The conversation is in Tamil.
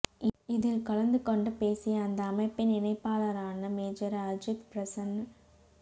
இதில் கலந்து கொண்டு பேசிய அந்த அமைப்பின் இணைப்பாளரான மேஜர் அஜித் பிரசன்ன